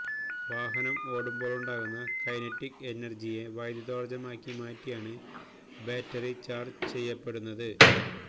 വാഹനം ഓടുമ്പോഴുണ്ടാകുന്ന കൈനറ്റിക് എനർജിയെ വൈദ്യുതോർജ്ജമാക്കി മാറ്റിയാണ് ബാറ്ററി ചാർജ് ചെയ്യപ്പെടുന്നത്